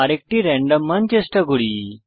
আরেকটি রেন্ডম মান চেষ্টা করি